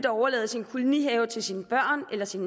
overlade sin kolonihave til sine børn eller sin